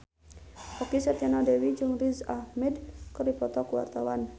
Okky Setiana Dewi jeung Riz Ahmed keur dipoto ku wartawan